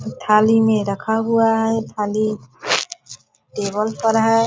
थाली में रखा हुआ है थाली टेबल पर है ।